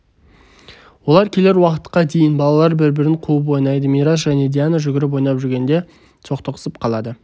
олар келер уақытқа дейін балалар бір-бірін қуып ойнайды мирас және диана жүгіріп ойнап жүргенде соқтығысып қалады